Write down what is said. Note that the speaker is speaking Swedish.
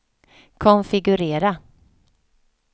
konfigurera